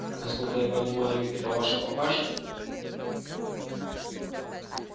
насколько я понимаю это ваша папаша